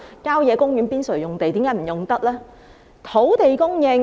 郊野公園邊陲用地又為何不能使用呢？